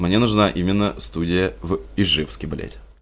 мне нужна именно студия в ижевске блять